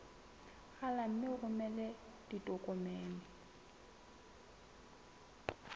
rala mme o romele ditokomene